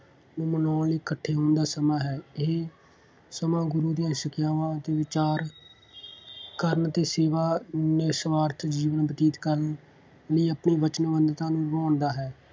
ਨੂੰ ਮਨਾਉਣ ਲਈ ਇਕੱਠੇ ਹੋਣ ਦਾ ਸਮਾਂ ਹੈ। ਇਹ ਸਮਾਂ ਗੁਰੂ ਦੀਆਂ ਸਿੱਖਿਆਵਾਂ 'ਤੇ ਵਿਚਾਰ ਕਰਨ ਅਤੇ ਸੇਵਾ ਨਿਸੁਆਰਥ ਜੀਵਨ ਬਤੀਤ ਕਰਨ ਲਈ ਆਪਣੇ ਵਚਨਬੱਧਤਾ ਨੂੰ ਨਿਭਾਉਣ ਦਾ ਹੈ।